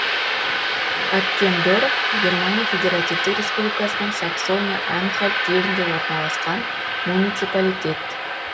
аккендорф германия федеративтік республикасының саксония анхальт жерінде орналасқан муниципалитет